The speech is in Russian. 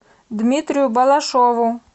дмитрию балашову